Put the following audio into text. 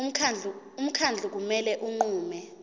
umkhandlu kumele unqume